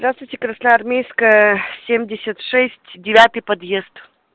здравствуйте красноармейская семьдесят шесть девятый подъезд